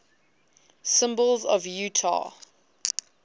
symbols of utah